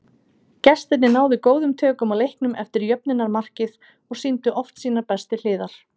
Gestirnir náðu góðum tökum á leiknum eftir jöfnunarmarkið og sýndu oft sínar bestu hliðar.